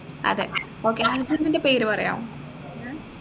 അതെ okay husband ൻറെ പേര് പറയാവോ